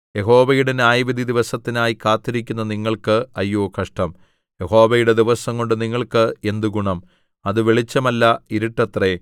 യഹോവയുടെ ന്യായവിധി ദിവസത്തിനായി കാത്തിരിക്കുന്ന നിങ്ങൾക്ക് അയ്യോ കഷ്ടം യഹോവയുടെ ദിവസംകൊണ്ട് നിങ്ങൾക്ക് എന്ത് ഗുണം അത് വെളിച്ചമല്ല ഇരുട്ടത്രേ